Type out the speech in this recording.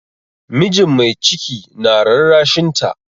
Mijin mai ciki na rarrashinta.